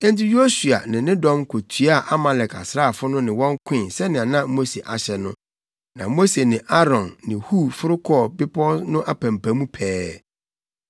Enti Yosua ne ne dɔm kɔtoaa Amalekfo asraafo no ne wɔn koe sɛnea na Mose ahyɛ no, na Mose ne Aaron ne Hur foro kɔɔ bepɔw no apampam pɛɛ.